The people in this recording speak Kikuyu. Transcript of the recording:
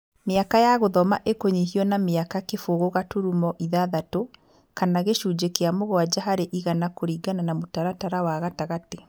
Mĩaka ya gũthoma ĩkũnyihio na mĩaka kĩbogo gaturumo ĩthathatũ, kana gĩcunjĩ kĩa mũgwanja harĩ igana kũringana na mũtaratara wa gatagatĩ.